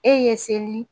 E ye seli